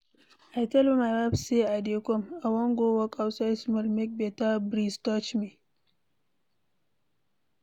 I tell my wife say I dey come. I wan go walk outside small make beta breeze touch me.